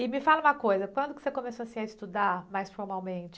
E me fala uma coisa, quando que você começou, assim, a estudar mais formalmente?